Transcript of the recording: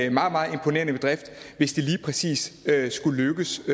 en meget meget imponerende bedrift hvis det lige præcis skulle lykkes